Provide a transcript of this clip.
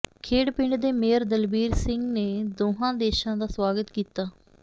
ਖੇਡ ਪਿੰਡ ਦੇ ਮੇਅਰ ਦਲਬੀਰ ਸਿੰਘ ਨੇ ਦੋਵਾਂ ਦੇਸ਼ਾਂ ਦਾ ਸਵਾਗਤ ਕੀਤਾ